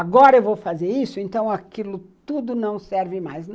Agora eu vou fazer isso, então aquilo tudo não serve mais.